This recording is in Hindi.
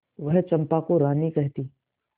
वह चंपा को रानी कहती